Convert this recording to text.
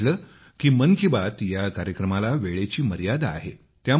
मला वाटले की मन की बात या कार्यक्रमाला वेळेची मर्यादा आहे